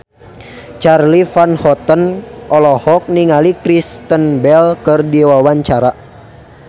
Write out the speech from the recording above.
Charly Van Houten olohok ningali Kristen Bell keur diwawancara